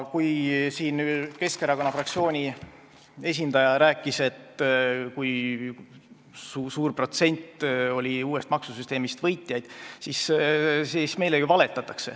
Kui siin Keskerakonna fraktsiooni esindaja rääkis, kui suur protsent oli neid, kes uuest maksusüsteemist võitsid, siis meile ju valetati.